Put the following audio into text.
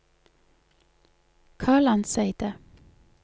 Kalandseidet